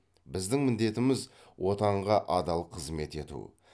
біздің міндетіміз отанға адал қызмет ету